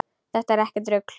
Þetta er ekkert rugl.